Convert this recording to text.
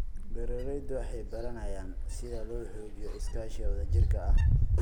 Beeraleydu waxay baranayaan sida loo xoojiyo iskaashiga wadajirka ah.